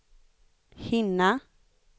hinna